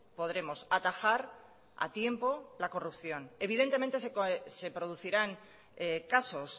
podremos atajar a tiempo la corrupción evidentemente se producirán casos